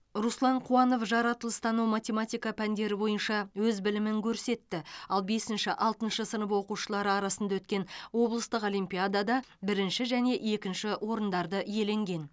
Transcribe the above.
руслан қуанов жаратылыстану математика пәндері бойынша өз білімін көрсетті ал бесінші алтыншы сынып оқушылары арасында өткен облыстық олимпиадада бірінші және екінші орындарды иеленген